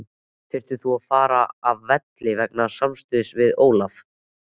Þurftir þú að fara af velli vegna samstuðsins við Ólaf?